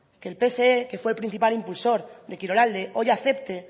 que el pse que fue el principal impulsor de kirolalde hoy acepte